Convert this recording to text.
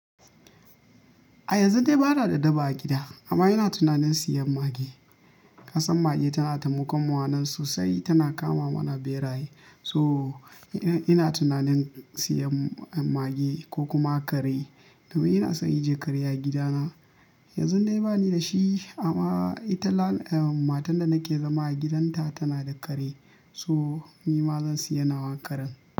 A yanzu dai ba na da daba a gida amma ina tunanin siyan mage. Kasan mage tana taimakon mu a nan sosai, tana kama mana beraye. To ina tunanin siyan mage, ko kuma kare, domin ina son in ji kare a gida na. Yanzu dai ba ni da shi, amma ita matan da nake zama a gidanta tana da kare. So ni ma zan siya nawa karen.